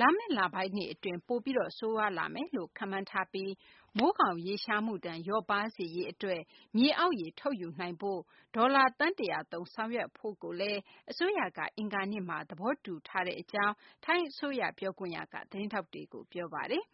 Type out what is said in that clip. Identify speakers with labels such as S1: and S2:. S1: လာမယ့် လပိုင်းတွေ အတွင်း ပိုပြီး ဆိုးရွားလာမယ်လို့ ခန့်မှန်းထားပြီး မိုးခေါင်ရေရှားမှုဒဏ် လျော့ပါးစေရေး အတွက် မြေအောက်ရေ ထုတ်ယူရေး အတွက် ဒေါ်လာ သန်း ၁၀၀ သုံးပြီး ဆောင်ရွက်ဖို့ အစိုးရက အင်္ဂါနေ့မှာ သဘောတူကြောင်း ထိုင်းအစိုးရ ပြောခွင့်ရက သတင်းထောက်တွေကို ပြောပါတယ်။